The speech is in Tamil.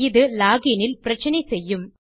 இது லாக் இன் இல் பிரச்சினை செய்யும்